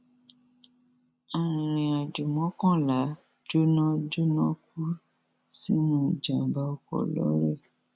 arìnrìnàjò mọkànlá jóná jóná kú sínú ìjàmbá ọkọ lọrẹ